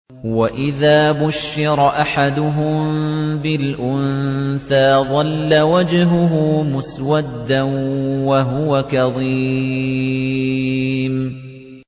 وَإِذَا بُشِّرَ أَحَدُهُم بِالْأُنثَىٰ ظَلَّ وَجْهُهُ مُسْوَدًّا وَهُوَ كَظِيمٌ